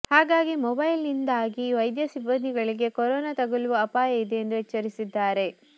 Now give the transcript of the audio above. ಹಾಗಾಗಿ ಮೊಬೈಲ್ನಿಂದಾಗಿ ವೈದ್ಯ ಸಿಬ್ಬಂದಿಗಳಿಗೆ ಕೊರೋನಾ ತಗುಲುವ ಅಪಾಯ ಇದೆ ಎಂದು ಎಚ್ಚರಿಸಿದ್ದಾರೆ